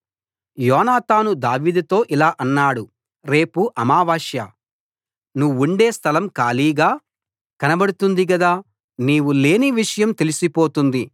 యోనాతాను దావీదుతో ఇలా అన్నాడు రేపు అమావాస్య నువ్వుండే స్థలం ఖాళీగా కనబడుతుంది గదా నీవు లేని విషయం తెలిసిపోతుంది